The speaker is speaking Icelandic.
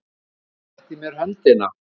Hann rétti mér höndina.